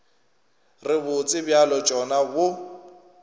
re bose bja tšona bo